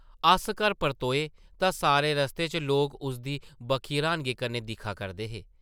अस घर परतोए तां सारे रस्ते च लोक उसदी बक्खी र्हानगी कन्नै दिक्खा करदे हे ।